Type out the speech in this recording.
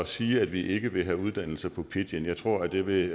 sige at vi ikke vil have uddannelser på pidgin jeg tror at det vil